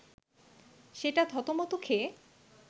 সেটা থতমত খেয়ে